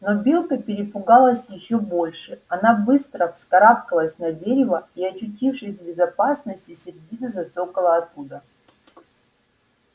но белка перепугалась ещё больше она быстро вскарабкалась на дерево и очутившись в безопасности сердито зацокала оттуда